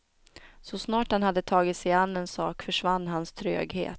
Så snart han hade tagit sig an en sak försvann hans tröghet.